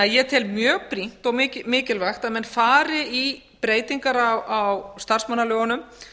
ég tel því mjög brýnt og mikilvægt að menn fari í breytingar á starfsmannalögunum